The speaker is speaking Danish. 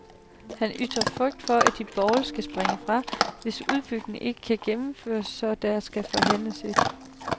Han ytrer frygt for, at de borgerlige skal springe fra, hvis udbygningen ikke kan gennemføres, så der skal forhandles et